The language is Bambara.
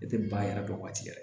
E tɛ ban yɛrɛ kɛ waati yɛrɛ